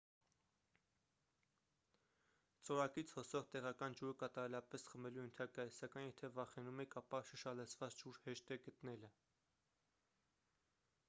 ծորակից հոսող տեղական ջուրը կատարելապես խմելու ենթակա է սակայն եթե վախենում եք ապա շշալցված ջուր հեշտ է գտնելը